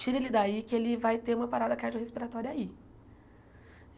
Tira ele daí que ele vai ter uma parada cardiorrespiratória aí.